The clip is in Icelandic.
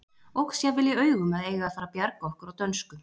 Óx jafnvel í augum að eiga að fara að bjarga okkur á dönsku.